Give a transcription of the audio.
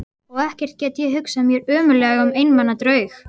Og ekkert get ég hugsað mér ömurlegra en einmana draug.